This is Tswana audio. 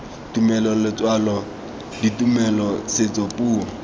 tumelo letswalo ditumelo setso puo